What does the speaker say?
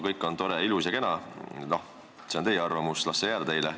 Kõik on tore, ilus ja kena – see on teie arvamus ja las see teil olla.